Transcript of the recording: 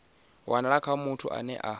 wanala kha muthu ane a